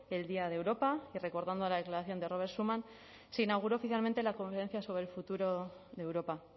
el día de europa y recordando la declaración de robert schuman se inauguró oficialmente la conferencia sobre el futuro de europa